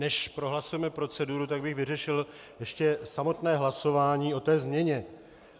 Než prohlasujeme proceduru, tak bych vyřešil ještě samotné hlasování o té změně.